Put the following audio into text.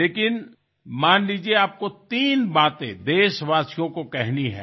लेकिन मान लीजिये आपको तीन बातें देशवासियों को कहनी है